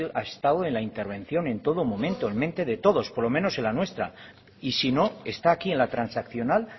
ha estado en la intervención en todo momento en la mente de todos por lo menos en la nuestra y si no está aquí en la transaccional